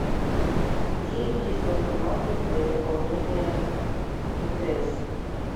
где есть банкоматы для заполнения мтс